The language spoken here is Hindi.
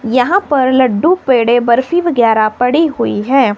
यहां पर लड्डू पेड़े बर्फी वगैरह पड़ी हुई है।